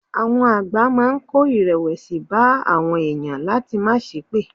Àwọn àgbà máa ń kó ìrẹ̀wẹ̀sì bá àwọn èèyàn láti máa sépè.